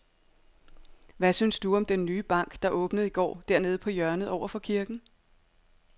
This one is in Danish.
Hvad synes du om den nye bank, der åbnede i går dernede på hjørnet over for kirken?